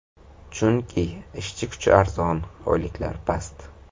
Chunki ishchi kuchi arzon, oyliklar past.